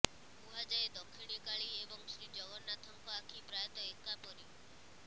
କୁହାଯାଏ ଦକ୍ଷିଣୀ କାଳୀ ଏବଂ ଶ୍ରୀଜଗନ୍ନାଥଙ୍କ ଆଖି ପ୍ରାୟତଃ ଏକା ପରି